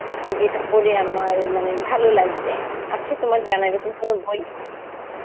যেটা পড়ে আমার মানে ভালো লাগবে, আছে তোমার জানা এরকম কোনো বই?